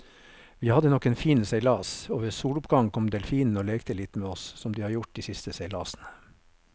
Vi hadde nok en fin seilas, og ved soloppgang kom delfinene og lekte litt med oss som de har gjort de siste seilasene.